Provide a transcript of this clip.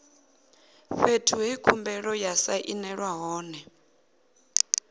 fhethu he khumbelo ya sainelwa hone